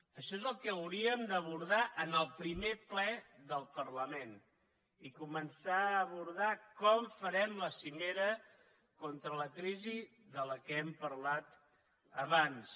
això és el que hauríem d’abordar en el primer ple del parlament i començar a abordar com farem la cimera contra la crisi de què hem parlat abans